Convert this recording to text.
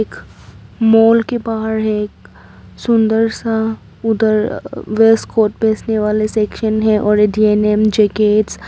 माल के बाहर है एक सुंदर सा उधर वेस्ट कोट बेचने वाले सेक्सन है और डेनिम जैकेटस --